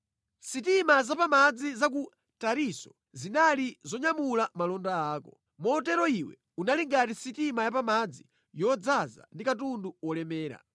“Sitima za pa madzi za ku Tarisisi zinali zonyamula malonda ako. Motero iwe uli ngati sitima yapamadzi yodzaza ndi katundu wolemera.